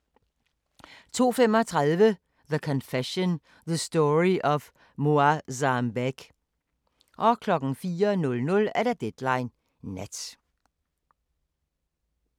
02:35: The Confession – The Story of Moazzam Begg 04:00: Deadline Nat